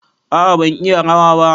A'a ban iya rawa ba.